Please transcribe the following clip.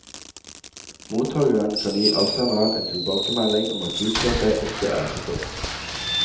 Mottageren kan gi avsenderen en tilbakemelding om at budskapet ikke er forstått.